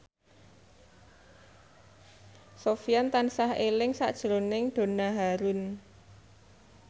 Sofyan tansah eling sakjroning Donna Harun